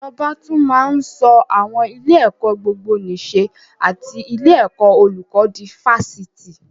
Ìjọba tún máa ń sọ àwọn ilé-ẹ̀kọ́ gbogbonìṣe and ilé ẹ̀kọ́ olùkó di Fásitì.